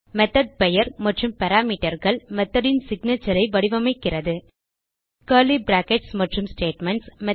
method பெயர் மற்றும் parameterகள் மெத்தோட் ன் சிக்னேச்சர் ஐ வடிவமைக்கிறது கர்லி பிராக்கெட்ஸ் மற்றும் ஸ்டேட்மென்ட்ஸ்